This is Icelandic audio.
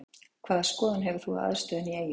Hvaða skoðun hefur þú á aðstöðunni í Eyjum?